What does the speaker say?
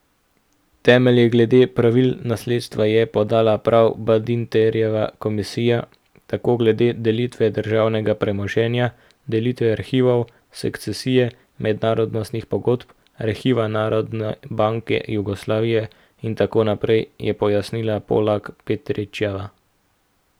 Temelje glede pravil nasledstva je podala prav Badinterjeva komisija, tako glede delitve državnega premoženja, delitve arhivov, sukcesije mednarodnih pogodb, arhivov Narodne banke Jugoslavije in tako naprej, je pojasnila Polak Petričeva.